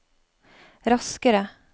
raskere